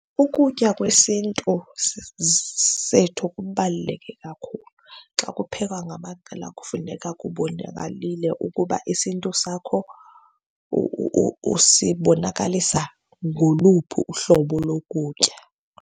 Ukutya kwesiNtu sethu kubaluleke kakhulu. Xa kuphekwa ngamaqela kufuneka kubonakalalile ukuba isiNtu sakho usibonakalisa ngoluphi uhlobo lokutya.